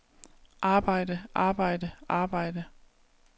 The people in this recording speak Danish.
arbejde arbejde arbejde